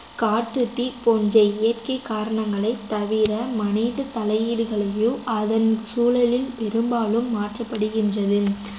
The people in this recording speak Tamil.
காட்டுத்தீ போன்ற இயற்கைக் காரணங்களைத் தவிர மனிதத் தலையீடுகளையோ அதன் சூழலில் பெரும்பாலும் மாற்றப்படுகின்றது